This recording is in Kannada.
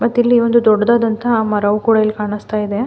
ಮತ್ತೆ ಇಲ್ಲಿ ದೊಡ್ಡದಾದಂಥಹ ಮರವು ಕೂಡ ಇಲ್ಲಿ ಕಾಣಿಸ್ತಾ ಇದೆ.